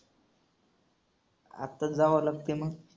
आताच जावं लागतेय मग.